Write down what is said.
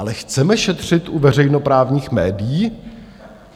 Ale chceme šetřit u veřejnoprávních médií?